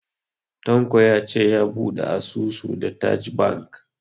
Tanko ya ce ya bude asusun da TAJ Bank.